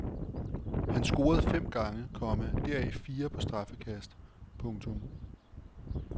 Han scorede fem gange, komma deraf fire på straffekast. punktum